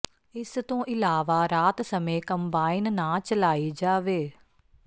ਇਸ ਤੋਂ ਇਲਾਵਾ ਰਾਤ ਸਮੇਂ ਕੰਬਾਇਨ ਨਾ ਚਲਾਈ ਜਾਵੇ